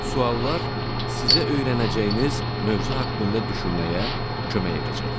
Suallar sizə öyrənəcəyiniz mövzu haqqında düşünməyə kömək edəcək.